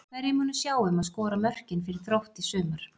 Hverjir munu sjá um að skora mörkin fyrir Þrótt í sumar?